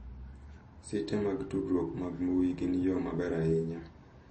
Site mag tudruok mag mbui gin yo maber ahinya.